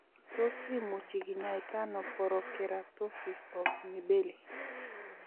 Tos imuchi kinyaita ano porokeratosis of mibelli